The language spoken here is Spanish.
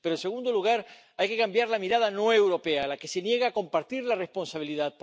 Pero, en segundo lugar, hay que cambiar la mirada no europea, la que se niega a compartir la responsabilidad.